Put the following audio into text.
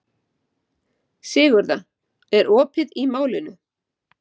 Sigurða, er opið í Málinu?